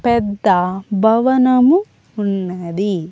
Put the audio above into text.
పెద్ద భవనము ఉన్నది.